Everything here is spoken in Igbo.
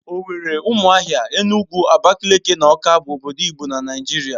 Owerri, Ụmụahia, Enugu, Abakaliki na Awka bụ obodo igbo na Naịjirịa